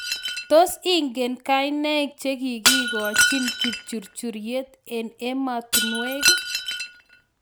Tos ingen kainaiing chekikochin kipchurchuryet eng ematunwek?